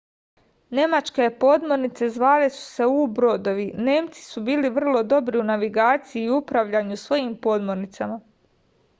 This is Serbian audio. nemačke podmornice zvale su se u-brodovi nemci su bili vrlo dobri u navigaciji i upravljanju svojim podmornicama